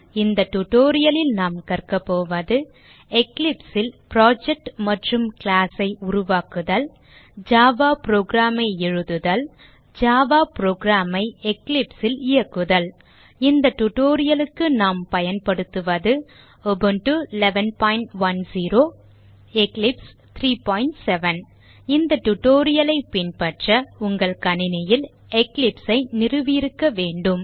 இந்த tutorial லில் நாம் கற்க போவது eclipse ல் புரொஜெக்ட் மற்றும் class ஐ உருவாக்குதல் ஜாவா program ஐ எழுதுதல் ஜாவா program ஐ Eclipse ல் இயக்குதல் இந்த tutorial க்கு நாம் பயன்படுத்துவது உபுண்டு 1110 எக்லிப்ஸ் 37 இந்த tutorial ஐ பின்பற்ற உங்கள் கணினியில் Eclipse ஐ நிறுவியிருக்க வேண்டும்